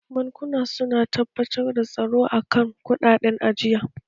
Bankuna su na tabbatar da tsaro a kan kuɗaɗen ajiya.